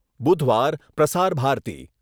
બુધવાર પ્રસાર ભારતી